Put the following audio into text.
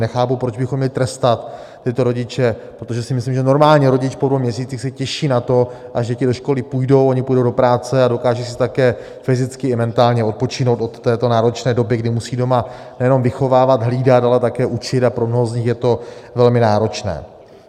Nechápu, proč bychom měli trestat tyto rodiče, protože si myslím, že normální rodič po dvou měsících se těší na to, až děti do školky půjdou, oni půjdou do práce a dokážou si také fyzicky i mentálně odpočinout od této náročné doby, kdy musí doma nejenom vychovávat, hlídat, ale také učit, a pro mnoho z nich je to velmi náročné.